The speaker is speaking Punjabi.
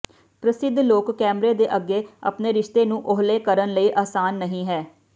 ਪ੍ਰਸਿੱਧ ਲੋਕ ਕੈਮਰੇ ਦੇ ਅੱਗੇ ਆਪਣੇ ਰਿਸ਼ਤੇ ਨੂੰ ਓਹਲੇ ਕਰਨ ਲਈ ਆਸਾਨ ਨਹੀ ਹੈ